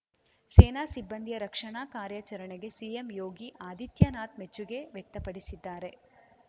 ಸೇನಾ ಸಿಬ್ಬಂದಿಯ ರಕ್ಷಣಾ ಕಾರ್ಯಾಚರಣೆಗೆ ಸಿಎಂ ಯೋಗಿ ಆದಿತ್ಯನಾಥ್‌ ಮೆಚ್ಚುಗೆ ವ್ಯಕ್ತಪಡಿಸಿದ್ದಾರೆ